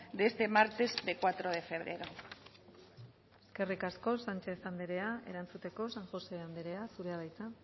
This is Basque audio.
de este martes de cuatro de febrero eskerrik asko sánchez andrea erantzuteko san josé andrea zurea da hitza